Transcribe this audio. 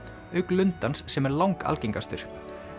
auk lundans sem er langalgengastur